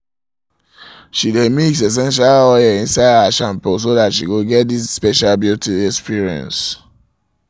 she dae mix essential oil oil inside her shampoo so that she go get this special beauty experience